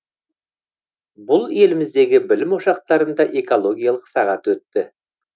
бұл еліміздегі білім ошақтарында экологиялық сағат өтті